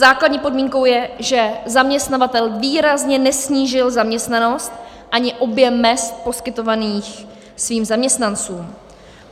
Základní podmínkou je, že zaměstnavatel výrazně nesnížil zaměstnanost ani objem mezd poskytovaných svým zaměstnancům.